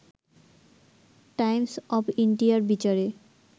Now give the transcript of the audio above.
Times of ইন্ডিয়ার বিচারে